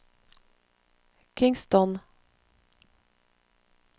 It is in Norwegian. Kingston